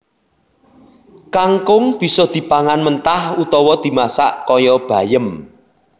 Kangkung bisa dipangan mentah utawa dimasak kaya bayem